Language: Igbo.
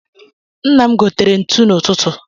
Nnam gotere ntu n’ututu